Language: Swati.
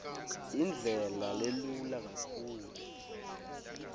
indlela lelula kakhulu